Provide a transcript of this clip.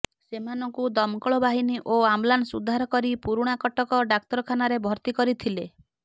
ସେମାନଙ୍କୁ ଦମକଳ ବାହୀନି ଓ ଆମ୍ବୁଲାନ୍ସ ଉଦ୍ଧାର କରି ପୁରୁଣାକଟକ ଡାକ୍ତରଖାନାରେ ଭର୍ତ୍ତି କରିଥିଲେ